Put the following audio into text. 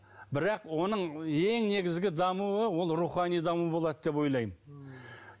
бірақ оның ең негізгі дамуы ол рухани даму болады деп ойлаймын ммм